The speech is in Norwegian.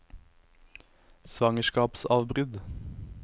svangerskapsavbrudd